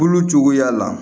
Bolo cogoya la